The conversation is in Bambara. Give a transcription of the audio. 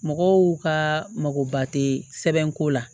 Mɔgɔw ka makoba tɛ sɛbɛnko la